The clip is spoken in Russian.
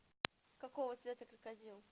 какого цвета крокодил